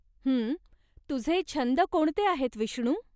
हं, तुझे छंद कोणते आहेत विष्णू?